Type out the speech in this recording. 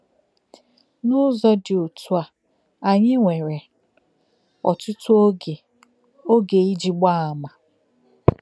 N’ụ́zọ̀ dị otú a, anyị nwere òtùtù ògè ògè iji gbaa àmà.